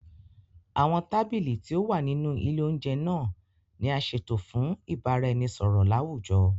Awọn tábìlì tí o wà nínú ilè oúnjẹ naa ni a ṣeto fún ibaraẹnisọrọ lawujọ